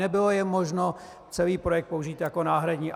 Nebylo je možno - celý projekt - použít jako náhradní.